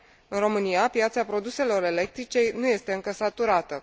În România, piața produselor electrice nu este încă saturată.